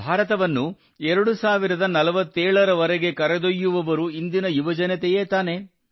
ಭಾರತವನ್ನು 2047 ರವರೆಗೆ ಕರೆದೊಯ್ಯುವವರು ಇಂದಿನ ಯುವಜನತೆಯೇ ತಾನೇ